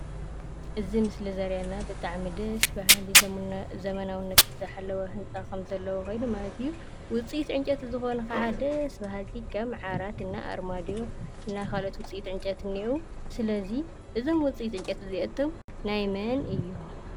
እዚ ምስሊ ዘርእየና ብጣዕሚ ደስ በሃሊ ዘመናዊነቱ ዝሓለወ ህንፃ ኸምዘለዎ ኾይኑ ማለት እዩ:: ውፅኢት ዕንጨይቲ ዝኾነ ኸዓ ደስ በሃልቲ ከም ዓራት እና ኣርማድዮ እና ኻልኦት ውፅኢት ዕንጨይቲ እንኤዉ፡፡ ስለዚ እዞም ውፅኢት ዕንጨይቲ እዚኣቶም ናይ መን እዮም?